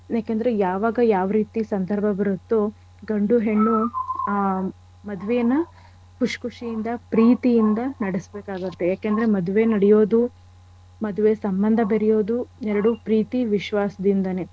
ಯಾಕಂದ್ರೆ ಯಾವಾಗ ಯಾವ್ ರೀತಿ ಸಂಧರ್ಭ ಬರತ್ತೋ ಗಂಡು ಹೆಣ್ಣು ಆ ಮದ್ವೆಯನ್ನ ಖುಷ್ ಖುಷಿಯಿಂದ ಪ್ರೀತಿಯಿಂದ ನಡೆಸ್ಬೇಕಾಗತ್ತೆ. ಯಾಕಂದ್ರೆ ಮದ್ವೆ ನಡ್ಯೋದು ಮದ್ವೆ ಸಂಬಂಧ ಬೆರೆಯೊದು ಎರಡು ಪ್ರೀತಿ ವಿಶ್ವಾಸದಿಂದಾನೆ.